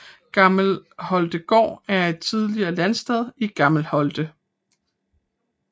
Gammel Holtegaard er et tidligere landsted i Gammel Holte